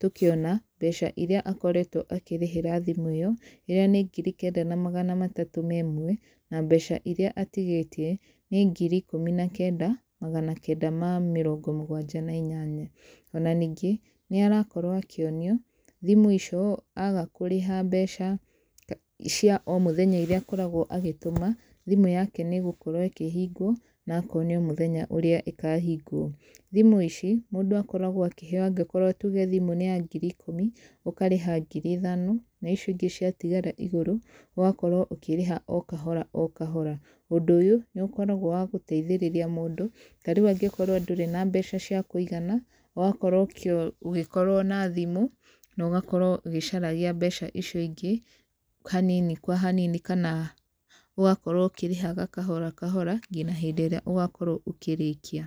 tũkĩona mbeca iria akoretwe akĩrĩhĩra thimũ ĩyo iria nĩ ngiri kenda magana matatu na ĩmwe, na mbeca iria atigĩtie nĩ ngiri ikũmi na kenda magana kenda ma mĩrongo mũgwanja na inyanya, ona ningĩ nĩarakorwo akĩonio thimũ icio aga kũrĩha mbeca cia omũthenya iria akoragwo agĩtũma thimũ yake nĩgũkorwo ĩkĩhingwo na akonio mũthenya ũrĩa ĩkahingwo, thimũ ici mũndũ akoragwa akĩheo angĩkorwo tuge thimũ nĩya ngiri ikũmi ũkarĩha ngiri ithano na icio ingĩ ciatigara igũrũ ũgakorwo ũkĩrĩha okahora okahora, ũndũ ũyũ nĩũkoragwa wagũteithĩrĩria mũndũ, tarĩu angĩkorwo ndũrĩ na mbeca cia kũigana ũgakorwo ũgĩkorwo na thimũ na ũgakorwo ũgĩcaragia mbeca icio ingĩ hanini kwa hanini kana ũgakorwo ũkĩrĩha kahora kahora nginya hĩndĩ ĩra ũgakorwa ũkĩrĩkia.